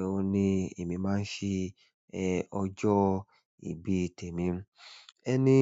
òun ni èmi máa ń ṣe ẹ̀ ọjọ́ ìbí tèmi. Ẹni.